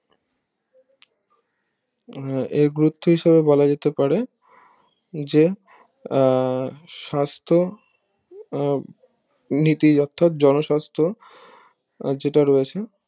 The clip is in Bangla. আহ এ গুরুত্ব হিসাবে বলাযেতে পারে যে আহ সাস্থ আহ নীতি অর্থাৎ জনস্বাস্থ যেটা রয়েছে